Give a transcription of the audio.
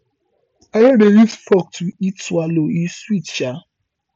i don dey use fork to eat swallow e sweet um